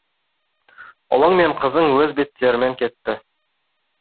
ұлың мен қызың өз беттерімен кетті